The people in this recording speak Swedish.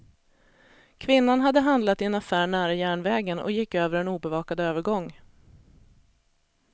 Kvinnan hade handlat i en affär nära järnvägen och gick över en obevakad övergång.